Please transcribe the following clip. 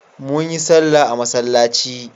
Mun yi sallah a masallaci.